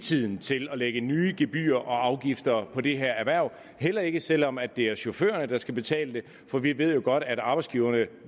tiden til at lægge nye gebyrer og afgifter på det her erhverv heller ikke selv om det er chaufførerne der skal betale det for vi ved jo godt at arbejdsgiverne